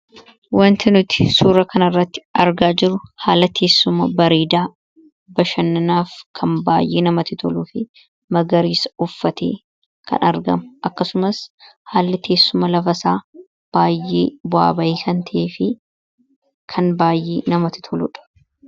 Waanti nuti suura kana irratti argaa jirru haalateessuma bareedaa bashannanaaf kan baay'ee namatti toluu fi magariisa uffatee kan argamu akkasumas haalli teessuma lafasaa baay'ee bu'aa bayii kan ta'e fi kan baayyee namatti toludha.